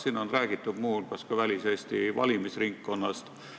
Siin on räägitud ka väliseesti valimisringkonnast.